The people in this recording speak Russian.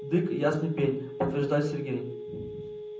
дык ясный пень подтверждает сергей